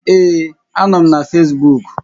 Ee, a nọ m na Fesbuuk